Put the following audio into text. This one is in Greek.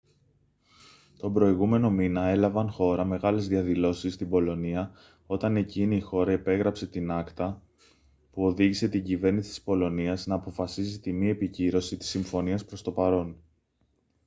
τον προηγούμενο μήνα έλαβαν χώρα μεγάλες διαδηλώσεις στην πολωνία όταν εκείνη η χώρα υπέγραψε την acta που οδήγησε την κυβέρνηση της πολωνίας να αποφασίσει τη μη επικύρωση της συμφωνίας προς το παρόν